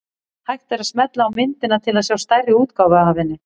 Hægt er að smella á myndina til að sjá stærri útgáfu af henni.